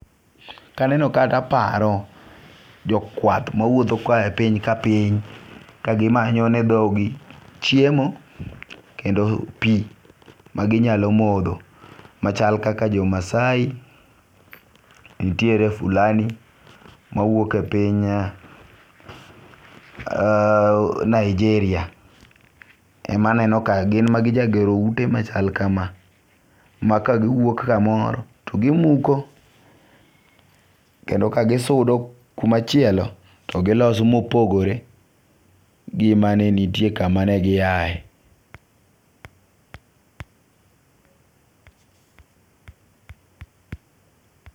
Ka aneno kae to aparo jokwath ma wuotho ko ohaye e piny ka piny, ka gimanyone thogi chiemo kendo pi maginyalo motho, machal kaka jomasai, nitiere fulani mawuok e piny Nigeria, emanenoka gin ema gijagero ute machal kama ma kagiwuok kamoro to gimuko, kendo ka gisudo kumachielo to giloso mopogore gi maneni nitie kuma negiyae.